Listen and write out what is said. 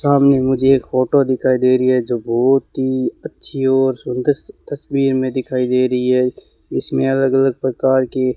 सामने मुझे एक फोटो दिखाई दे रही है जो बहोत ही अच्छी और सुंदर सी तस्वीर में दिखाई दे रही है इसमें अलग अलग प्रकार के --